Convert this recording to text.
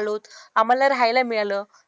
आलो. आम्हाला राहायला मिळालं.